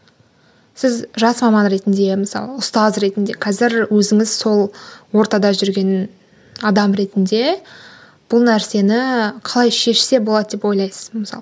сіз жас маман ретінде мысалы ұстаз ретінде қазір өзіңіз сол ортада жүрген адам ретінде бұл нәрсені қалай шешсе болады деп ойлайсыз мысалы